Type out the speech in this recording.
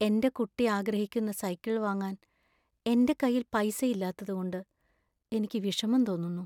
എന്‍റെ കുട്ടി ആഗ്രഹിക്കുന്ന സൈക്കിൾ വാങ്ങാൻ എന്‍റെ കൈയിൽ പൈസ ഇല്ലാത്തതുകൊണ്ട് എനിക്ക് വിഷമം തോന്നുന്നു.